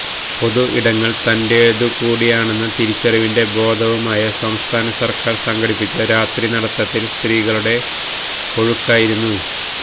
പൊതു ഇടങ്ങൾ തന്റേതുകൂടിയാണെന്ന തിരിച്ചറിവിന്റെ ബോധവുമായി സംസ്ഥാന സർക്കാർ സംഘടിപ്പിച്ച രാത്രിനടത്തത്തിൽ സ്ത്രീകളുടെ ഒഴുക്കായിരുന്നു